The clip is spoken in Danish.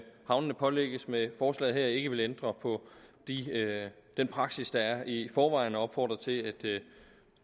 havnene pålægges med forslaget her ikke vil ændre på den praksis der er i forvejen og opfordrer til at det